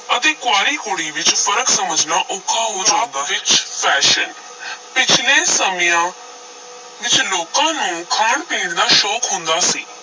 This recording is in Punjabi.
ਅਤੇ ਕੁਆਰੀ ਕੁੜੀ ਵਿਚ ਫ਼ਰਕ ਸਮਝਣਾ ਔਖਾ ਹੋ ਵਿੱਚ fashion ਪਿੱਛਲੇ ਸਮਿਆਂ ਵਿਚ ਲੋਕਾਂ ਨੂੰ ਖਾਣ-ਪੀਣ ਦਾ ਸ਼ੌਕ ਹੁੰਦਾ ਸੀ।